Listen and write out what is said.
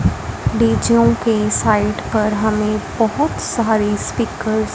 डीजों के साइट पर हमें बहौत सारे स्पीकर्स --